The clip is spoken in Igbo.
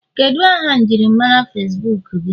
Kedu aha njirimara Facibuku gị?